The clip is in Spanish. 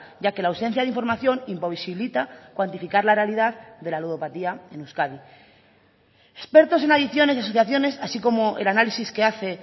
ya que la ausencia de información imposibilita cuantificar la realidad de la ludopatía en euskadi expertos en adicciones y asociaciones así como el análisis que hace